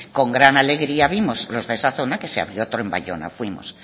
con gran alegría vimos los de esa zona que se abrió otro en bayona fuimos